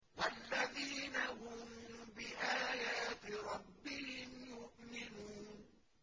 وَالَّذِينَ هُم بِآيَاتِ رَبِّهِمْ يُؤْمِنُونَ